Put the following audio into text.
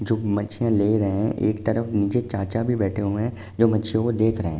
जो मच्छियां ले रहे हैं। एक तरफ नीचे चाचा भी बैठे हुए हैं जो मच्छियों को देख रहे हैं।